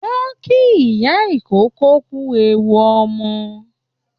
Wọ́n kí ìyá ìkókó kú ewu ọmọ